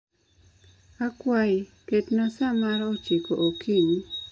Akwayi, ketna sa mar ochiko okinyi